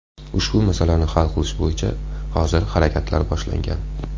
Ushbu masalani hal qilish bo‘yicha hozir harakatlar boshlangan.